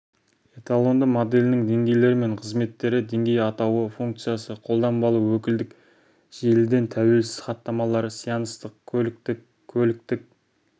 эталонды моделінің деңгейлері мен қызметтері деңгей атауы функциясы қолданбалы өкілдік желіден тәуелсіз хаттамалар сеанстық көліктік көліктік